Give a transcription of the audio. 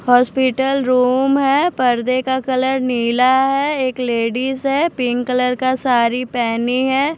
Hospital room है पर्दे का कलर नीला है एक लेडीज है पिंक कलर का साड़ी पहनी है।